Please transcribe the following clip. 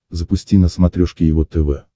запусти на смотрешке его тв